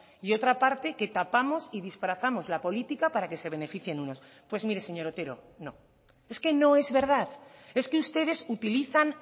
y otra parte que tapamos y disfrazamos la política para que se beneficien unos pues mire señor otero no es que no es verdad es que ustedes utilizan